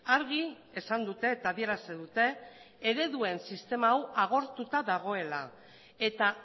argi esan dute eta adierazi dute ereduen sistema hau agortuta dagoela eta